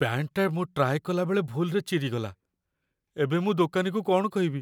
ପ୍ୟାଣ୍ଟଟା ମୁଁ ଟ୍ରାଏ କଲା ବେଳେ ଭୁଲ୍‌ରେ ଚିରିଗଲା । ଏବେ ମୁଁ ଦୋକାନୀକୁ କ'ଣ କହିବି?